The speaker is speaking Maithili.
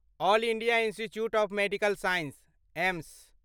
all India institute of medical sciences AIIMS